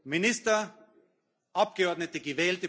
Minister, Abgeordnete.